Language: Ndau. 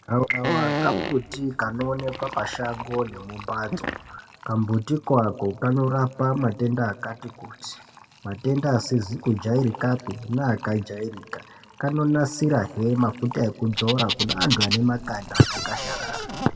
Gavakava kambuti kanoonekwa pashango ngemumbatso, kamuti kako knorapa matenda akati kutii, matenda asizi kujairikapi neakajairika, kanonasirahe mafuta ekudzora kune anhu ane makanda aka kasharara.